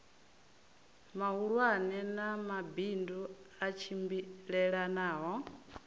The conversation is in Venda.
mahulwane na mabindu a tshimbilelanaho